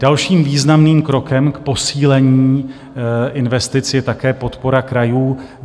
Dalším významným krokem k posílení investic je také podpora krajů.